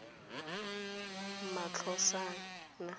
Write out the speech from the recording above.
matlosana